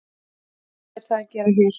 Hvað er það að gera hér?